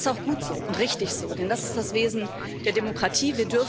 Und das ist auch gut so und richtig so, denn das ist das Wesen der Demokratie.